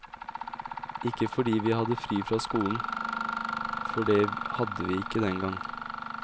Ikke fordi vi hadde fri fra skolen, for det hadde vi ikke den gang.